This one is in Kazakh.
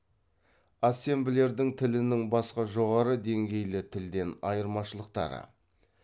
ассемблердің тілінің басқа жоғары деңгейлі тілден айырмашылықтары